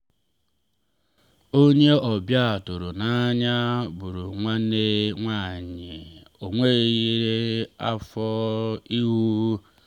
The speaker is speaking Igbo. onye ọbịa tụrụ n’anya bụrụ nwanne nwanyị o nweghịla afọ ịhụ.